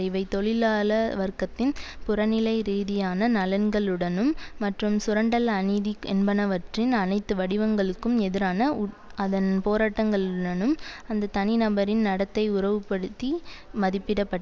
இவை தொழிலாள வர்க்கத்தின் புறநிலை ரீதியான நலன்களுடனும் மற்றும் சுரண்டல் அநீதி என்பனவற்றின் அனைத்து வடிவங்களுக்கும் எதிரான உட் அதன் போராட்டங்களுனும் அந்த தனிநபரின் நடத்தை உறவுபடுத்தி மதிப்பிடப்பட்